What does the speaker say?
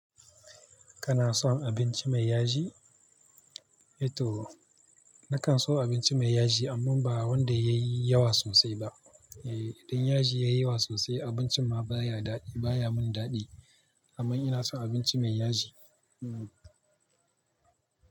Kana son abinci mai yaji? Eto, nakan so abinci mai yaji amma ba wanda yayi yawa sosai ba. Eh, idan yaji yayi yawa sosai abincin ma baya daɗi baya mun daɗi amma ina son abinci mai yaji. Hmm.